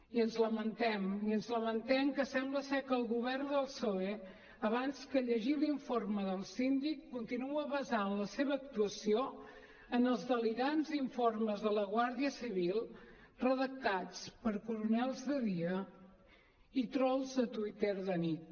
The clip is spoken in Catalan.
i ens lamentem i ens lamentem que sembla que el govern del psoe abans que llegir l’informe del síndic continua basant la seva actuació en els delirants informes de la guàrdia civil redactats per coronels de dia i trols de twitter de nit